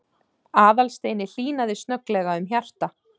Aðalsteini hlýnaði snögglega um hjarta